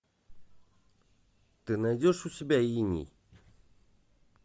ты найдешь у себя иней